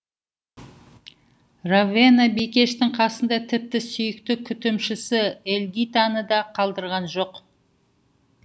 ровена бикештің қасында тіпті сүйікті күтімшісі эльгитаны да қалдырған жоқ